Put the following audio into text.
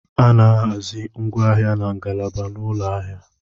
A na-ahazi ngwaahịa na ngalaba n'ụlọ ahịa.